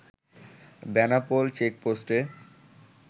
Benapole চেকপোষ্টে